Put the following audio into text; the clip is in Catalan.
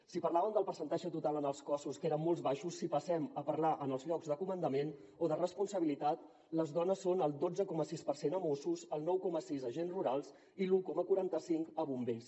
si parlàvem del percentatge total en els cossos que eren molt baixos si passem a parlar ne en els llocs de comandament o de responsabilitat les dones són el dotze coma sis per cent a mossos el nou coma sis a agents rurals i l’un coma quaranta cinc a bombers